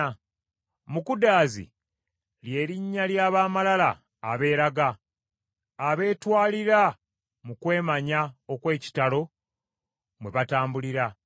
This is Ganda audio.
“Mukudaazi,” lye linnya ly’ab’amalala abeeraga, abeetwalira mu kwemanya okw’ekitalo mwe batambulira.